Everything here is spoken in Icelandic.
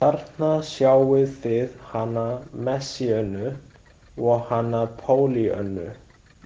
Þarna sjáið þið hana Messíönu og hana Pollýönnu.